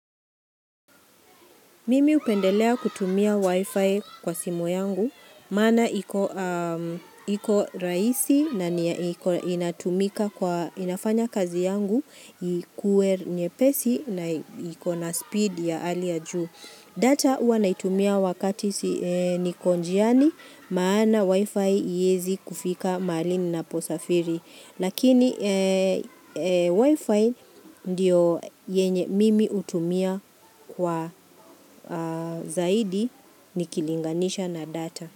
Mimi hupendelea kutumia wifi kwa simu yangu, maana iko iko rahisi na inatumika kwa inafanya kazi yangu, ikuwe nyepesi na ikona speed ya hali juu. Data hua naitumia wakati niko njiani maana wifi hiyezi kufika mahali ninapo safiri. Lakini wifi ndio yenye mimi hutumia kwa zaidi nikilinganisha na data.